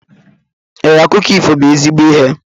Ee, akụkọ ifo bu ezigbo ihe